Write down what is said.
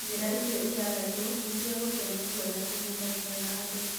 Njĩra icio ithathatũ nĩ cia gũtua matua na kũnyitanĩra na andũ.